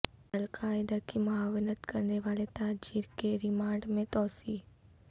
القاعدہ کی معاونت کرنے والے تاجر کے ریمانڈ میں توسیع